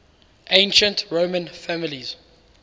ancient roman families